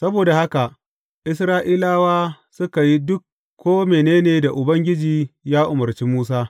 Saboda haka Isra’ilawa suka yi duk ko mene ne da Ubangiji ya umarci Musa.